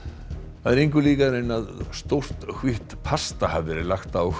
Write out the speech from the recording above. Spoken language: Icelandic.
það er engu líkara en að stórt hvítt pasta hafi verið lagt á